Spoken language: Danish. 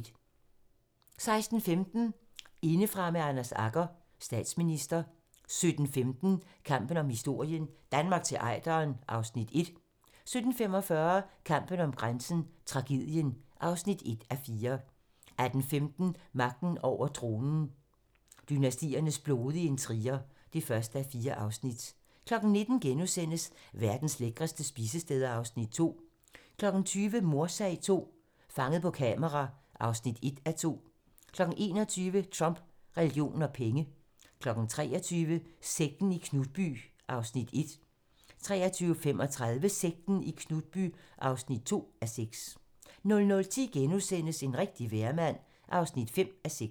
16:15: Indefra med Anders Agger - Statsminister 17:15: Kampen om historien - Danmark til Ejderen (Afs. 1) 17:45: Kampen om grænsen - Tragedien (1:4) 18:15: Magten over tronen - dynastiernes blodige intriger (1:4) 19:00: Verdens lækreste spisesteder (Afs. 2)* 20:00: Mordsag II - Fanget på kamera (1:2) 21:00: Trump, religion og penge 23:00: Sekten i Knutby (1:6) 23:35: Sekten i Knutby (2:6) 00:10: En rigtig vejrmand (5:6)*